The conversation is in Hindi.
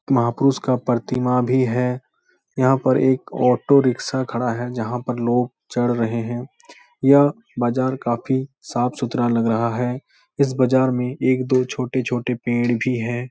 महापुरुष का प्रतिमा भी है। यहाँ पर एक ऑटो रिक्शा खड़ा है जहाँ पर लोग चल रहें हैं। यह बाजार काफी साफ-सुथरा लग रहा है। इस बाज़ार में एक दो छोटे-छोटे पेड़ भी हैं।